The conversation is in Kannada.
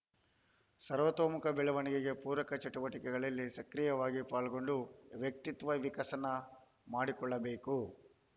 ಸರ್ವೊತೋಮುಖ ಬೆಳವಣಿಗೆಗೆ ಪೂರಕ ಚಟುವಟಿಕೆಗಳಲ್ಲಿ ಸಕ್ರೀಯವಾಗಿ ಪಾಲ್ಗೊಂಡು ವ್ಯತ್ವತ್ವ ವಿಕಸನ ಮಾಡಿಕೊಳ್ಳಬೇಕು